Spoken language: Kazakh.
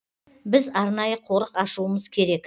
біз арнайы қорық ашуымыз керек